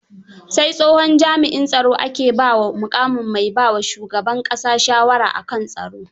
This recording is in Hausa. Sai tsohon jami'in tsaro ake ba wa muƙamin mai baa wa shuban ƙasa shawara a kan tsaro.